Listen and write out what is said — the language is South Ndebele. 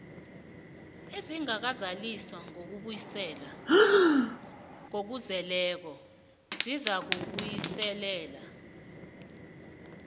ezingakazaliswa ngokuzeleko zizakubuyiselwa